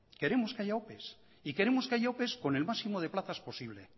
queremos que haya opes y queremos que haya opes con el máximo de plazas posible